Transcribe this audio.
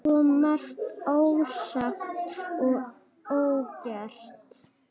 Svo margt ósagt og ógert.